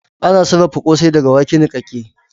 Ana sarafa kosai daga wake nikake